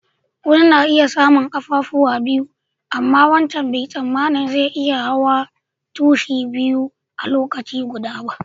Wanni na iya samu kaffafuwa biyu, amma wancan bai tsamani zai iya hawa tushi biyu a'lokaci guda ba.